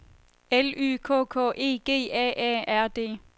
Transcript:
L Y K K E G A A R D